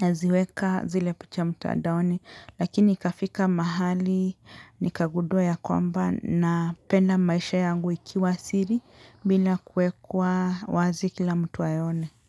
naziweka zile picha mtadaoni lakini ikafika mahali, nikagudua ya kwamba napenda maisha yangu ikiwa siri bila kuekwa wazi kila mtu aione.